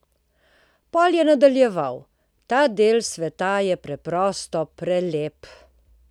Potem je nadaljeval: "Ta del sveta je preprosto prelep.